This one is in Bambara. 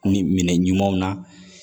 Ni minɛ ɲumanw na